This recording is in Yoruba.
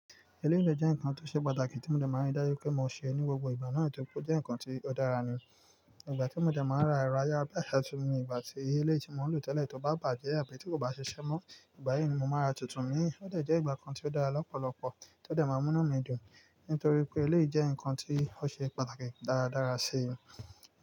Ilé ìwẹ̀ jẹ́ nǹkan tó ṣe pàtàkì tí mo dẹ̀ máa ń dájú pé mo sè ní gbogbo ìgbà náà tó kó jẹ́ nǹkan tí ó dára ni. Ìgbà tí mo dẹ̀ máa ń ra iraya bá yàtọ̀ nínú ìgbà tí ilé tí mò ń lò tẹ́lẹ̀ tó bá bàjẹ́ àbí tó kò bá ṣe iṣẹ́ mọ́, ìgbà yìí ni mo máa ra tuntun mì í. Ó dẹ̀ jẹ́ ìgbà kan tí ó dára lọ́pọ̀lọpọ̀, tó dẹ̀ máa mú mí dùn nítorí pé ilé jẹ́ nǹkan tí ó ṣe pàtàkì dáradára sí i.